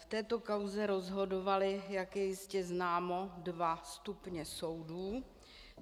V této kauze rozhodovaly, jak je jistě známo, dva stupně soudů.